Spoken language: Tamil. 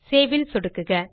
சேவ் ல் சொடுக்குக